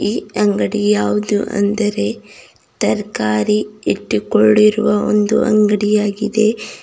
ಈ ಅಂಗಡಿ ಯಾವುದು ಅಂದರೆ ತರ್ಕಾರಿ ಇಟ್ಟಿಕೊಂಡಿರುವ ಒಂದು ಅಂಗಡಿ ಆಗಿದೆ.